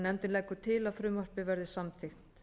nefndin leggur til að frumvarpið verði samþykkt